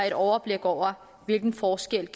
et overblik over hvilken forskel